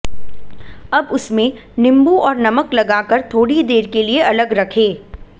अब उसमें नींबू और नमक लगा कर थोड़ी देर के लिये अलग रखें